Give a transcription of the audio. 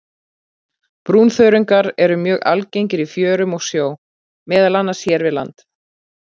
Brúnþörungar eru mjög algengir í fjörum og sjó, meðal annars hér við land.